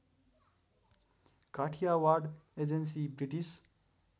Kathiawad agency British